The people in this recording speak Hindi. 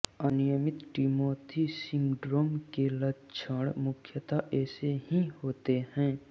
अनियमित टिमोथी सिंड्रोम के लक्षण मुख्यतः ऐसे ही होते हैं